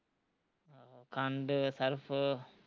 ਖੰਡ ਸਰਫ਼